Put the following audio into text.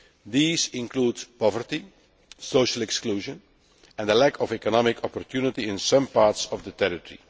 These include poverty, social exclusion and a lack of economic opportunity in some parts of the territory.